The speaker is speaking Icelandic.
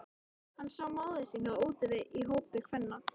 Hann sá móður sína úti við í hópi kvenna.